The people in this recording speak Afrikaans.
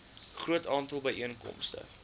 groot aantal byeenkomste